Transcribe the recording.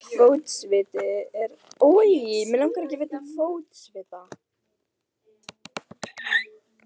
Fótsviti eru algengur kvilli, einkum hjá mjög feitu fólki.